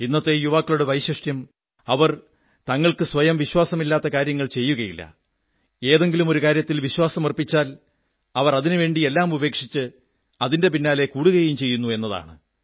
ഇന്നത്തെ യുവാക്കളുടെ വൈശിഷ്ട്യം അവർ തങ്ങൾക്ക് സ്വയം വിശ്വാസമില്ലാത്ത കാര്യങ്ങൾ ചെയ്യുകയില്ല ഏതെങ്കിലും ഒരു കാര്യത്തിൽ വിശ്വാസമർപ്പിച്ചാൽ അവർ അതിനുവേണ്ടി എല്ലാ ഉപേക്ഷിച്ച് അതിന്റെ പിന്നാലെ കൂടുകയും ചെയ്യുന്നു എന്നതാണ്